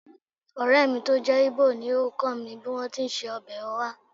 Ọ̀rẹ́ mi tó jẹ́ Igbo ni ó kọ́ mi bí wọ́n ti ń se ọbẹ̀ oha